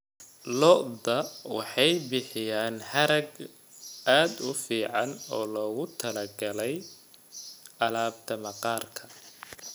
Lo'da lo'da waxay bixiyaan harag aad u fiican oo loogu talagalay alaabta maqaarka.